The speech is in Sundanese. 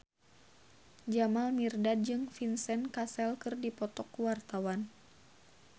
Jamal Mirdad jeung Vincent Cassel keur dipoto ku wartawan